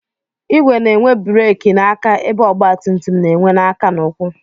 Igwe na-enwe bereki n'aka ebe ọgbatumtum na-enwe n'aka na ụkwụ